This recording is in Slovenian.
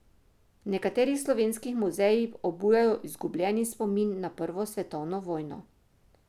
V nekaterih slovenskih muzejih obujajo izgubljeni spomin na prvo svetovno vojno.